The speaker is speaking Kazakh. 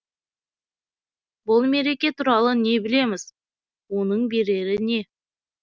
бұл мереке туралы не білеміз оның берері не